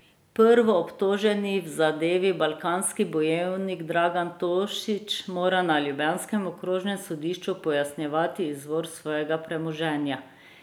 Prvoobtoženi v zadevi Balkanski bojevnik Dragan Tošić mora na ljubljanskem okrožnem sodišču pojasnjevati izvor svojega premoženja.